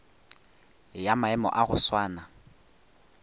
ya maemo a go swana